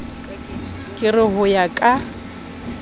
ke re ho ya ka